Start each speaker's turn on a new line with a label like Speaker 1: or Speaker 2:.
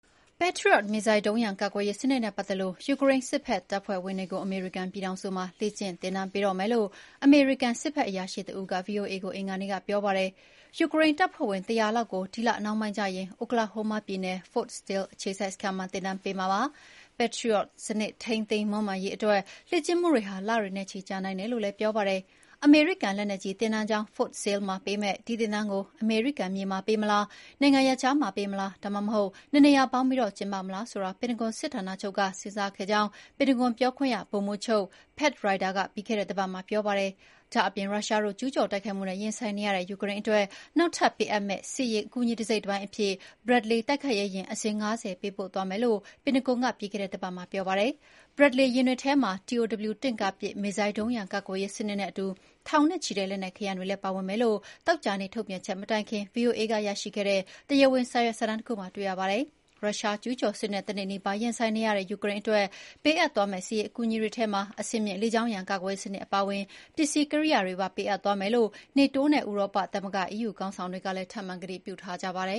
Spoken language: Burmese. Speaker 1: Patriot မစ်ဇိုင်းဒုံးရန်ကာကွယ်ရေးစနစ်နဲ့ပတ်သက်လို့ ယူကရိန်းစစ်ဘက် တပ်ဖွဲ့ ဝင်တွေကို အမေရိကန်ပြည်ထောင်စုမှာ လေ့ကျင့်သင်တန်းပေးတော့မယ်လို့ အမေရိကန်စစ်ဘက်အရာရှိတဦးက ဗွီအိုအေကို အင်္ဂါနေ့က ပြောပါတယ်။ ယူကရိန်းတပ်ဖွဲ့ဝင် ၁၀၀ လောက်ကို ဒီလနှောင်းပိုင်းကျရင် Oklahoma ပြည်နယ် Fort Sill အခြေစိုက်စခန်းမှာ သင်တန်းပေးမှာပါ။ Patriot စနစ်ထိ မွမ်းမံထိန်းသိမ်းရေးအတွက် လေ့ကျင့်မှုတွေဟာ လတွေနဲ့ချီကြာနိုင်တယ်လို့လည်း ပြောပါတယ်။ အမေရိကန် လက်နက်ကြီးသင်တန်းကျောင်း Fort Sill မှာပေးမယ့် ဒီ သင်တန်းကို အမေရိကန်မြေမှာပေးမလား၊ နိုင်ငံရပ်ခြားမှာပေးမလား ဒါမှမဟုတ် နှစ်နေရာပေါင်းပြီးကျင်းပမလားဆိုတာ ပင်တဂွန်စစ်ဌာနချုပ်က စဉ်းစားခဲ့ကြောင်း ပင်တဂွန်ပြောခွင့်ရ ဗိုလ်မှူးချုပ် Pat Ryder က ပြီးခဲ့တဲ့ တပတ်မှာပြောပါတယ်။ ဒါ့အပြင် ရုရှားတို့ကျူးကျော်တိုက်ခိုက်မှုနဲ့ ရင်ဆိုင်နေရတဲ့ယူကရိန်းအတွက် နောက်ထပ်စစ်ပေးအပ်မယ့် စစ်ရေးအကူအညီတစိတ်တပိုင်းအဖြစ် Bradley တိုက်ခိုက်ရေးယာဉ်အစင်း ၅၀ ပေးပို့သွားမယ်လို့ ပင်တဂွန်က ပြီးခဲ့တဲ့တပတ်မှာပြောပါတယ်။ Bradley ယာဉ်တွေထဲမှာ TOW တင့်ကားပစ်မစ်ဇိုင်းဒုံးရန် ကာကွယ်ရေးစနစ်နဲ့အတူ ထောင်နဲ့ချီတဲ့လက်နက်ခဲယမ်းတွေလည်း ပါဝင်မယ်လို့ သောကြာနေ့ ထုတ်ပြန်ချက်မတိုင်ခင် VOA က ရရှိခဲ့တဲ့ တရားဝင်စာရွက်စာတမ်းတခုမှာ တွေ့ရပါတယ်။ ရုရှားကျူးကျော်စစ်နဲ့တနှစ်နီးပါးရင်ဆိုင်နေရတဲ့ ယူကရိန်းအတွက် ပေးအပ်မယ့် စစ်ရေးအကူအညီတွေထဲမှာ အဆင့်မြင့် လေကြောင်းရန်ကာကွယ်ရေးစနစ်အပါအဝင် ပစ္စည်းကိရိယာတွေပေးအပ်သွားမယ်လို့ NATO နဲ့ ဥရောသမဂ္ဂ EU ခေါင်းဆောင်တွေကလည်း ထပ်မံ ကတိပြုထားကြပါတယ